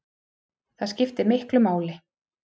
Það skiptir miklu máli